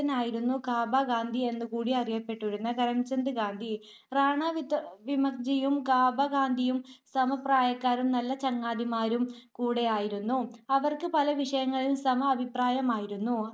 ആയിരുന്നു കാബ ഗാന്ധി എന്ന് കൂടി അറിയപെട്ടിരുന്ന കരംചന്ദ്‌ ഗാന്ധി റാണവിക്മത്ജിയും കാബ ഗാന്ധിയും സമപ്രായക്കാരും നല്ല ചങ്ങാതിമാരും കൂടെ ആയിരുന്നു. അവർക്ക് പല വിഷയങ്ങളിലും സമ അഭിപ്രായമായിരുന്നു.